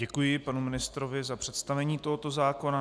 Děkuji panu ministrovi za představení tohoto zákona.